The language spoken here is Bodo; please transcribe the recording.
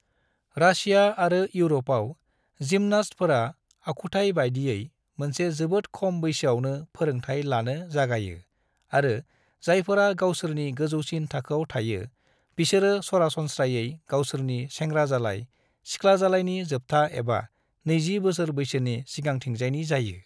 रासिया आरो यूरोपाव जिम्नास्टफोरा आखुथाय बायदियै मोनसे जोबोद खम बैसोआवनो फोरोंथाय लानो जागायो आरो जायफोरा गावसोरनि गोजौसिन थाखोआव थायो बिसोरो सरासनस्रायै गावसोरनि सेंग्राजालाय/सिख्लाजालायनि जोबथा एबा नैजि बोसोर बैसोनि सिगांथिजायनि जायो।